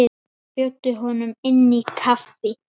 Bjóddu honum inn í kaffi.